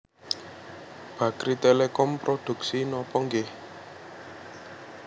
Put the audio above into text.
Bakrie Telecom produksi nopo nggih